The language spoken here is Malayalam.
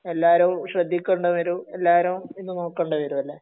എല്ലാരേം ശ്രദ്ധിക്കേണ്ടി വരും എല്ലാരേം ഇത് നോക്കേണ്ടി വരും അല്ലെ